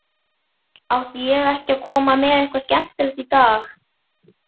Átti ég ekki að koma með eitthvað skemmtilegt í dag?